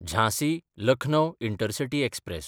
Jhansi-Lucknow intercity express